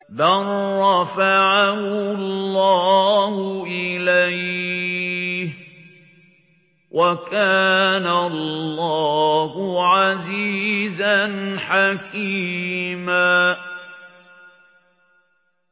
بَل رَّفَعَهُ اللَّهُ إِلَيْهِ ۚ وَكَانَ اللَّهُ عَزِيزًا حَكِيمًا